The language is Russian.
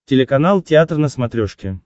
телеканал театр на смотрешке